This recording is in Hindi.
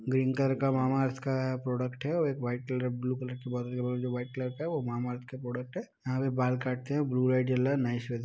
ग्रीन कलर का मामाअर्थ का प्रोडक्ट है और एक white colour blue colour white colour का वो मामाअर्थ का प्रोडक्ट है। यहाँ पे बाल काटते हैं। ब्लू लाइट जल रहा है नाइस --